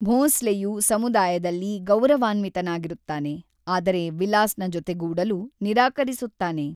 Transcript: ಭೋಂಸ್ಲೆಯು ಸಮುದಾಯದಲ್ಲಿ ಗೌರವಾನ್ವಿತನಾಗಿರುತ್ತಾನೆ, ಆದರೆ ವಿಲಾಸ್‌ನ ಜೊತೆಗೂಡಲು ನಿರಾಕರಿಸುತ್ತಾನೆ.